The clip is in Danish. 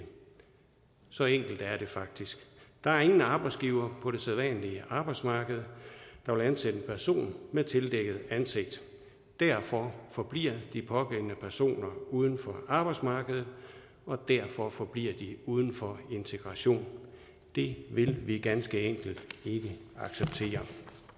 så enkelt er det faktisk der er ingen arbejdsgiver på det sædvanlige arbejdsmarked der vil ansætte en person med tildækket ansigt derfor forbliver de pågældende personer uden for arbejdsmarkedet og derfor forbliver de uden for integration det vil vi ganske enkelt ikke acceptere